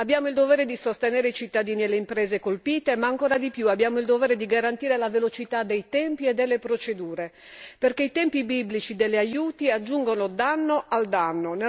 Abbiamo il dovere di sostenere i cittadini e le imprese colpite ma, ancora di più, abbiamo il dovere di garantire la velocità dei tempi e delle procedure, perché i tempi biblici degli aiuti aggiungono danno al danno.